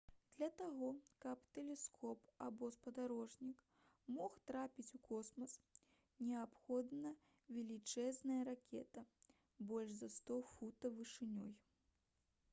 для таго каб тэлескоп або спадарожнік мог трапіць у космас неабходна велічэзная ракета больш за 100 футаў вышынёй